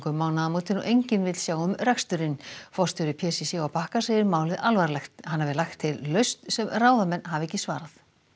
um mánaðarmótin og enginn vill sjá um reksturinn forstjóri p c c á Bakka segir málið alvarlegt hann hafi lagt til lausn sem ráðamenn hafi ekki svarað